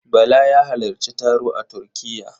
Bala ya halarci taro a Turkiya.